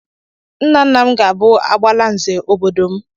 Nna nna m ga-bụ "Agbalanze" obodo m.